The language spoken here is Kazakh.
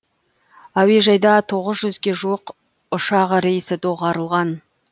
әуежайда тоғыз жүзге жуық ұшақ рейсі доғарылған